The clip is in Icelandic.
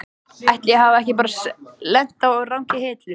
Ætli ég hafi ekki bara lent á rangri hillu.